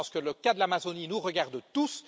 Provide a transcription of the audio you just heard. Je pense que le cas de l'Amazonie nous regarde tous.